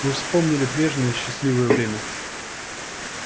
мы вспомнили и прежнее счастливое время